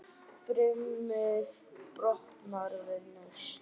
Brimið brotnar við naust.